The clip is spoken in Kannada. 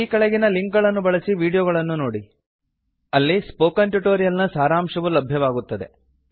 ಈ ಕೆಳಗಿನ ಲಿಂಕ್ ಗಳನ್ನು ಬಳಸಿ ವೀಡಿಯೋಗಳನ್ನು ನೋಡಿ ಅಲ್ಲಿ ಸ್ಪೋಕನ್ ಟ್ಯುಟೋರಿಯಲ್ ನ ಸಾರಾಂಶವು ಲಭ್ಯವಾಗುತ್ತದೆ